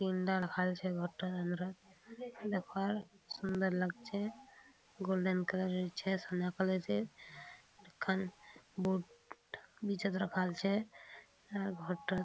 तीन टा देखाई छे घर टे अंदरा। देखा सुन्दर लग छे गोल्डन कलर छे सोना कलर छे। एखन बहुत नीचे त रखाएल छे। एमे --